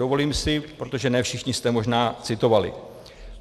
Dovolím si - protože ne všichni jste možná citovali.